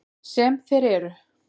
Sem þeir eru.